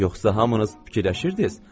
Yoxsa hamınız fikirləşirdiz?